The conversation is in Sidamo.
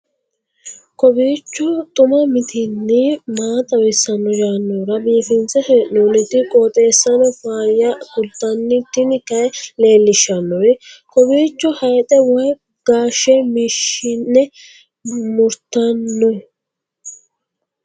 kowiicho xuma mtini maa xawissanno yaannohura biifinse haa'noonniti qooxeessano faayya kultanno tini kayi leellishshannori kowiicho hayxe woy gaashe mashine murtanno